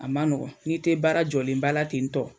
A ma nɔgɔn n'i tɛ baara jɔlen baara ten tɔ.